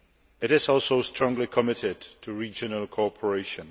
It is also strongly committed to regional cooperation.